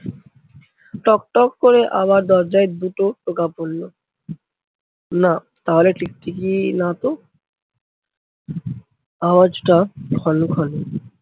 টক টক করে আবার দরজায় দুটো টোকা পরলো। না তাহলে টিকটিকি না তো আওয়াজটা খলো খলো।